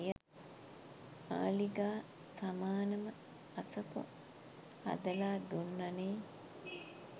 මාළිගා සමානම අසපු හදලා දුන්න නේ